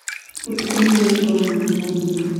Ũtukũ nĩgũgũkorwo na heho nene